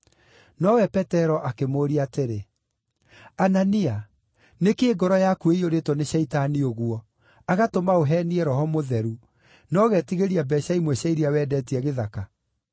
Nowe Petero akĩmũũria atĩrĩ, “Anania, nĩ kĩĩ ngoro yaku ĩiyũrĩtwo nĩ Shaitani ũguo, agatũma ũheenie Roho Mũtheru, na ũgetigĩria mbeeca imwe cia iria wendetie gĩthaka?